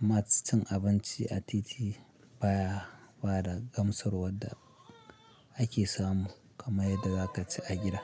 Amma cin abinci a titi baya bada gamsarwa da ake samu kamar yadda za ka ci a gida.